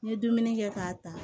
N ye dumuni kɛ k'a ta